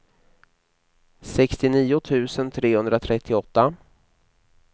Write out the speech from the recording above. sextionio tusen trehundratrettioåtta